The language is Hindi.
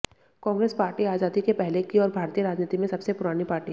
कांग्रेस पार्टी आजादी के पहले की और भारतीय राजनीति में सबसे पुरानी पार्टी है